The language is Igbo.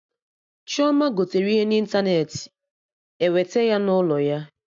Chioma gotere ihe na ịntanetị, ewete ya n'ụlọ ya